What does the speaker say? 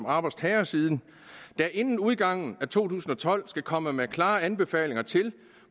arbejdstagersiden og inden udgangen af to tusind og tolv skal udvalget komme med klare anbefalinger til